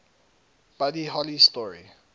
buddy holly story